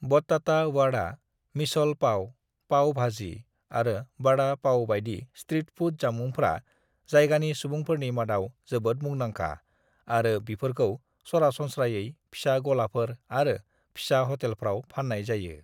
"बट्टाता वाड़ा, मिसल पाव, पाव भाजी आरो वाड़ा पाव बायदि street food जामुंफ्रा जायगानि सुबुंफोरनि मादाव जोबोद मुंंदांखा आरो बिफोरखौ सरासनस्रायै फिसा गलाफोर आरो फिसा हटेलफ्राव फान्नाय जायो।"